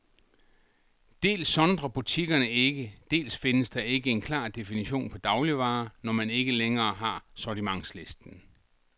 Dels sondrer butikkerne ikke, dels findes der ikke en klar definition på dagligvarer, når man ikke længere har sortimentslisten.